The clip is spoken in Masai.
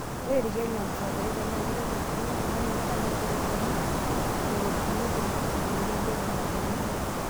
Ore ilkeek le mfadhaiko na keitobirr elukunya oltung'ani anaa serotonini, neropinephrine tenebo dopamini.